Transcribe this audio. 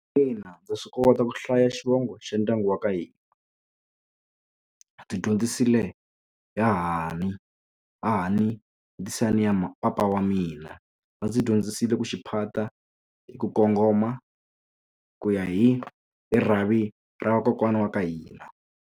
Ina ndza swi kota ku hlaya xivongo xa ndyangu wa ka hina ndzi dyondzisile hahani ha ha ni ndzisani ya papa wa mina va ndzi dyondzisile ku xiphata hi ku kongoma ku ya hi rhavi ra vakokwana wa ka hina.